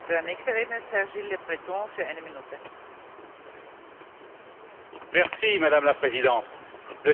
Madame la Présidente, le 7 juin 2016 restera comme une date intéressante dans l'histoire de l'immigration en Europe.